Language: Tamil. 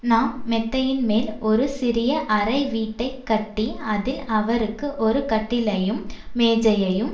நாம் மெத்தையின்மேல் ஒரு சிறிய அறைவீட்டைக் கட்டி அதில் அவருக்கு ஒரு கட்டிலையும் மேஜையையும்